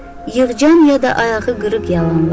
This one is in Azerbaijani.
Yığcam ya da ayağı qırıq yalanlar.